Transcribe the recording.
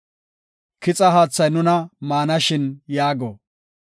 Kixa haathay nuna maanashin” yaago.